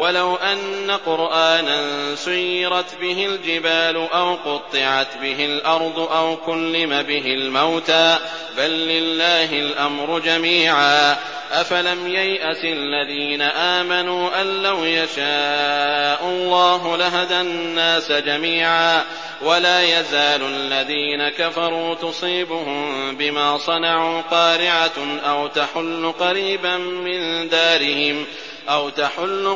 وَلَوْ أَنَّ قُرْآنًا سُيِّرَتْ بِهِ الْجِبَالُ أَوْ قُطِّعَتْ بِهِ الْأَرْضُ أَوْ كُلِّمَ بِهِ الْمَوْتَىٰ ۗ بَل لِّلَّهِ الْأَمْرُ جَمِيعًا ۗ أَفَلَمْ يَيْأَسِ الَّذِينَ آمَنُوا أَن لَّوْ يَشَاءُ اللَّهُ لَهَدَى النَّاسَ جَمِيعًا ۗ وَلَا يَزَالُ الَّذِينَ كَفَرُوا تُصِيبُهُم بِمَا صَنَعُوا قَارِعَةٌ أَوْ تَحُلُّ